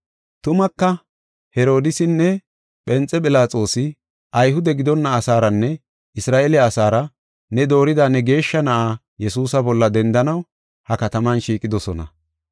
“Tumaka, Herodiisinne Phenxe Philaxoosi Ayhude gidonna asaaranne Isra7eele asaara ne doorida ne geeshsha Na7aa Yesuusa bolla dendanaw ha kataman shiiqidosona.